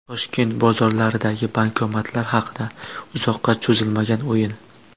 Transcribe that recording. Toshkent bozorlaridagi bankomatlar haqida: Uzoqqa cho‘zilmagan o‘yin .